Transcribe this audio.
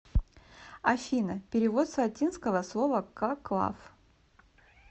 афина перевод с латинского слова коклав